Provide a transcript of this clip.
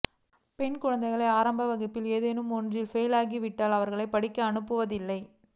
பெண் குழந்தைகள் ஆரம்ப வகுப்பில் ஏதேனும் ஒன்றில் ஃபெயில் ஆகிவிட்டால் அவர்களைப் படிக்க அனுப்புவதில்லை